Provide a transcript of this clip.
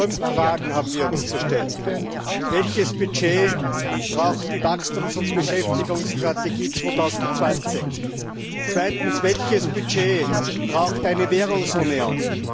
Fünf Fragen haben wir uns zu stellen Erstens Welches Budget braucht die Wachstums und Beschäftigungsstrategie 2020? Zweitens Welches Budget braucht eine Währungsunion?